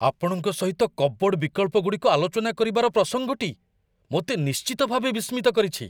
ଆପଣଙ୍କ ସହିତ କପବୋର୍ଡ଼ ବିକଳ୍ପଗୁଡ଼ିକ ଆଲୋଚନା କରିବାର ପ୍ରସଙ୍ଗଟି ମୋତେ ନିଶ୍ଚିତ ଭାବେ ବିସ୍ମିତ କରିଛି।